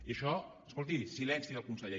i en això escolti silenci del conseller